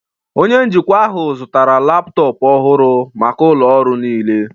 Onye njikwa ahụ zụtara laptọọpụ ọhụrụ maka ụlọ ọrụ niile